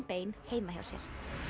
bein heima hjá sér